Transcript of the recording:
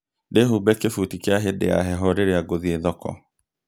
ndĩhumbe kĩbuthi kia hĩndĩ ya heho rĩrĩa ngũthiĩ thoko